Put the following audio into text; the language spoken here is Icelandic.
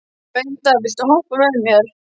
Bengta, viltu hoppa með mér?